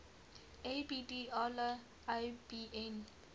abd allah ibn